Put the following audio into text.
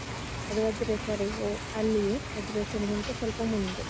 ಮತ್ತು ವಜ್ರೇಶ್ವರಿ ಹೋ ಅಲ್ಲಿಯೇ, ವಜ್ರೇಶ್ವರಿಗಿಂತ ಸ್ವಲ್ಪ ಮುಂದೆ.